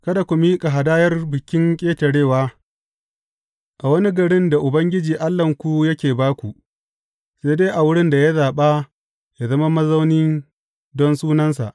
Kada ku miƙa hadayar Bikin Ƙetarewa a wani garin da Ubangiji Allahnku yake ba ku, sai dai a wurin da ya zaɓa yă zama mazauni don Sunansa.